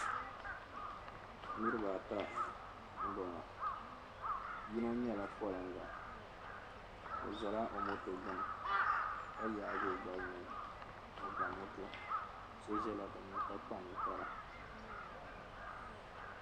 Niriba ata m-bɔŋɔ yino nyɛla poliŋga o zala o moto gbini ka yaagi o gbali ni o ba moto. So zala dinni ka kpa niŋkpara.